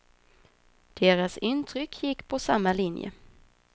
Deras intryck gick på samma linje.